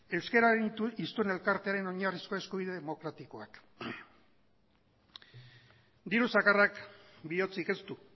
euskararen historia elkartearen oinarrizko eskubide demokratikoak diru zakarrak bihotzik ez du